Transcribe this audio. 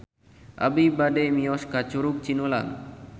Abi bade mios ka Curug Cinulang